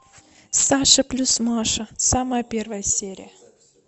саша плюс маша самая первая серия